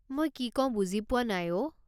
মই কি কওঁ বুজি পোৱা নাই অ'।